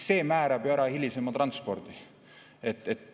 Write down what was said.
See määrab ju ära hilisema transpordi.